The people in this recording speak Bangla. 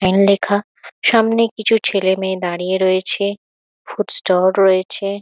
এন লেখা। সামনে কিছু ছেলে মেয়ে দাঁড়িয়ে রয়েছে। ফুড ষ্টল রয়েছে।